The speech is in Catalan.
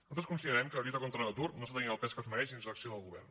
nosaltres considerem que la lluita contra l’atur no té el pes que es mereix dins l’acció del govern